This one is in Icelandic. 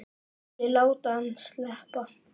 Ekki láta hann sleppa!